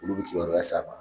Olu bi kibaruya s'a ma